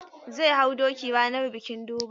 Zai hau doki ranar bikin Durbar.